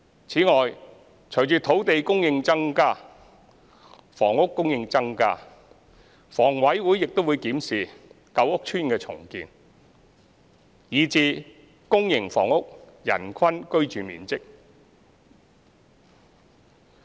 此外，隨着土地供應增加，房屋供應增加，房委會亦會檢視舊屋邨重建，以至公營房屋人均居住面積。